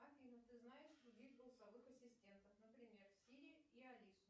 афина ты знаешь других голосовых ассистентов например сири или алису